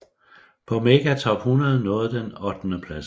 På Mega Top 100 nåede den ottendepladsen